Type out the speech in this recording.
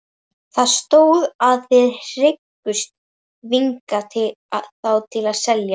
Það stóð, að þið hygðust þvinga þá til að selja